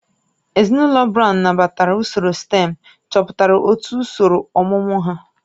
Ezinụlọ Brown nabatara usoro stém chọpụtara otu usoro ọmụmụ ha